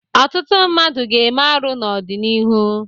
Ọtụtụ mmadụ ga-eme arụ n'ọdịnihu.